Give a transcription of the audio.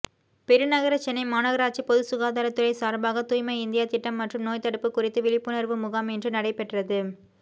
பெருநகர சென்னை மாநகராட்சி பொதுசுகாதாரத்துறை சார்பாக தூய்மை இந்தியா திட்டம் மற்றும் நோய்த்தடுப்பு குறித்து விழிப்புணர்வு முகாம் இன்று நடைபெற்றது